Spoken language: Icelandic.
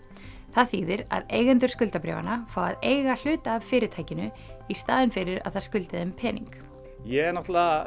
það þýðir að eigendur skuldabréfanna fá að eiga hluta af fyrirtækinu í staðinn fyrir að það skuldi þeim pening ég er